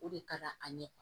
O de ka d'an ye